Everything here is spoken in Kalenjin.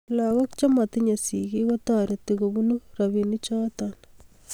lagook chematinyei sigiik ketoreti kobuno robinichoto